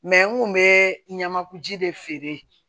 n kun bɛ ɲamankuji de feere